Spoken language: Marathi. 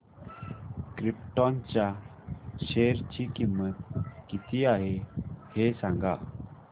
क्रिप्टॉन च्या शेअर ची किंमत किती आहे हे सांगा